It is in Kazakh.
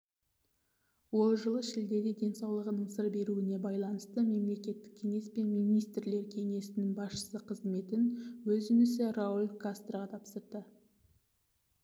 ол жылы шілдеде денсаулығының сыр беруіне байланысты мемлекеттік кеңес пен министрлер кеңесінің басшысы қызметін өз інісі рауль кастроға тапсырды